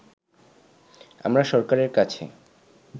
আমরা সরকারের কাছে